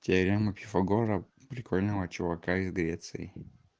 теорема пифагора прикольного чувака из греции